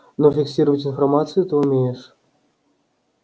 но фиксировать информацию ты умеешь